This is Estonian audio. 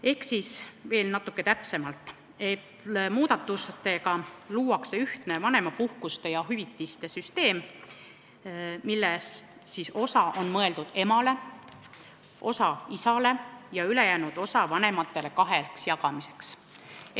Ehk veel natuke täpsemalt: muudatustega luuakse ühtne vanemapuhkuste ja -hüvitiste süsteem, millest osa on mõeldud emale, osa isale ja ülejäänud vanemate vahel jagamiseks.